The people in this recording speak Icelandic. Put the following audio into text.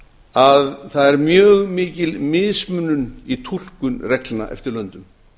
að það er mjög mikil mismunun í túlkun reglna eftir löndum